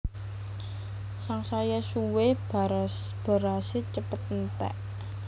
Sangsaya suwé berasé cepet enték